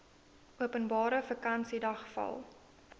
openbare vakansiedag val